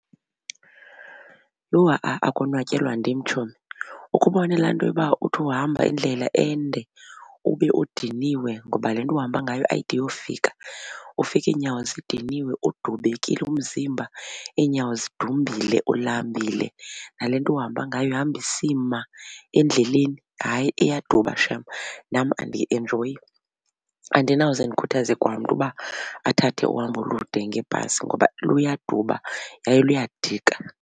Yho ha-a akonwatyelwa ndim tshomi. Ukhe jubone laa nto yoba uthi uhamba indlela ende ube udiniwe ngoba le nto uhamba ngayo ayide uyofika ufike iinyawo zidiniwe udubekile umzimba iinyawo zidumbile ulambile nale nto uhamba ngayo ihamba isima endleleni. Hayi iyaduba shem, nam andiyienjoyi, andinawuze ndikhuthaze kwamntu uba athathe uhambo olude ngebhasi ngoba luyaduba yaye luyadika.